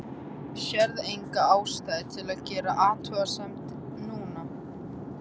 Sérð enga ástæðu til að gera athugasemd núna.